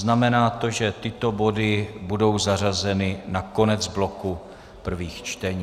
Znamená to, že tyto body budou zařazeny na konec bloku prvních čtení.